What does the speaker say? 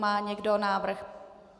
Má někdo návrh?